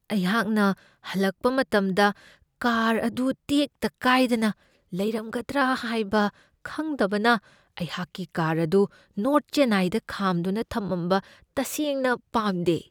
ꯑꯩꯍꯥꯛꯅ ꯍꯜꯂꯛꯄ ꯃꯇꯝꯗ ꯀꯥꯔ ꯑꯗꯨ ꯇꯦꯛꯇ ꯀꯥꯏꯗꯅ ꯂꯩꯔꯝꯒꯗ꯭ꯔꯥ ꯍꯥꯏꯕ ꯈꯪꯗꯕꯅ ꯑꯩꯍꯥꯛꯀꯤ ꯀꯥꯔ ꯑꯗꯨ ꯅꯣꯔ꯭ꯊ ꯆꯦꯟꯅꯥꯏꯗ ꯈꯥꯝꯗꯨꯅ ꯊꯝꯃꯝꯕ ꯇꯁꯦꯡꯅ ꯄꯥꯝꯗꯦ ꯫